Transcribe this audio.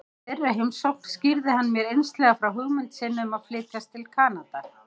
Í þeirri heimsókn skýrði hann mér einslega frá hugmynd sinni um að flytjast til Kanada.